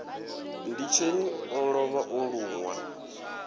nditsheni u lovha o lunwa